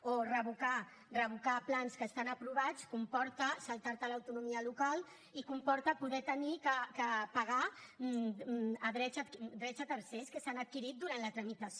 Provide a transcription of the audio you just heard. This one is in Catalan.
o revocar plans que estan aprovats comporta saltar te l’autonomia local i comporta haver de pagar drets a tercers que s’han adquirit durant la tramitació